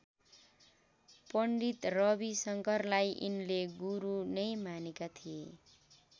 पण्डित रवि शङ्करलाई यिनले गुरू नै मानेका थिए।